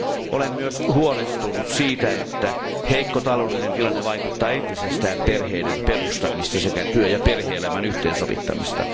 Olen myös huolestunut siitä, että heikko taloudellinen tilanne vaikeuttaa entisestään perheiden perustamista sekä työ ja perhe elämän yhteensovittamista.